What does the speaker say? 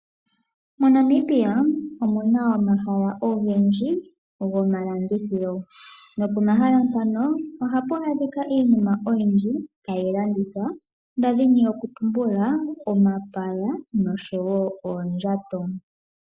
MoNamibia omuna omahala ogendji gomalandithilo, nopomahala mpano ohapu adhikwa iinima oyindji tayi landithwa ndadhini oku tumbula omapaya noshowo oondjato.